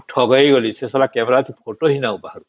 ଠକେଇ ଗଲି ସେ ଶଳା camera ରେ photo ହିଁ ନାଇଁ ବାହାରୁଚି